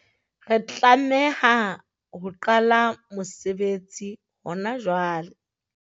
Re tlameha ho qala mosebetsi hona jwale.